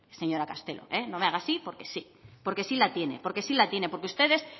señora castelo no me haga así porque sí porque sí la tiene porque sí la tiene porque ustedes